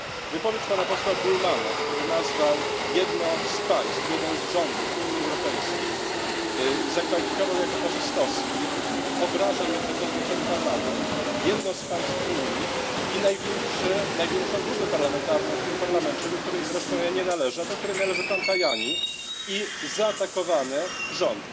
Wypowiedź pana posła Bullmanna, który jedno z państw, jeden z rządów Unii Europejskiej zakwalifikował jako faszystowskie, obraża jednocześnie ten Parlament, jedno z państw Unii i największą grupę parlamentarną w tym Parlamencie, do której zresztą ja nie należę, a do której należy pan Tajani i zaatakowany rząd.